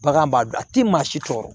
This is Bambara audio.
Bagan b'a dun a ti maa si tɔɔrɔ